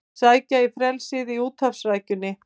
Sækja í frelsið í úthafsrækjunni